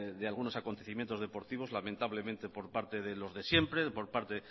de algunos acontecimientos deportivos lamentablemente por parte de los de siempre por parte